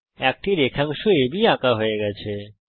একটি রেখাংশ আব আঁকা হয়ে গেছে